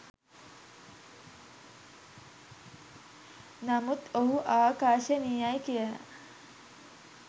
නමුත් ඔහු ආකර්ශනීයයි කියල